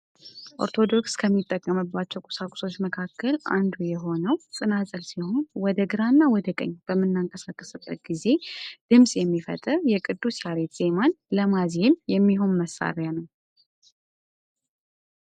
ኦርቶዶክስ ተጠቀመባቸው ቁሳቁሶች መካከል አንዱ የሆነው ጽናጽል ሲሆን ወደ ግራና ወደ ቀኝ በምናነቃበት ጊዜ ድምጽ የሚፈጥር የቅዱስ ያሬድ ዜማን ለማዜም የሚሆን መሳሪያ ነው ።